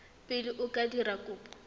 pele o ka dira kopo